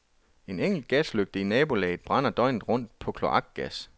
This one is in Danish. En enkelt gaslygte i nabolaget brænder døgnet rundt på kloakgas.